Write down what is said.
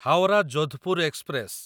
Howrah Jodhpur express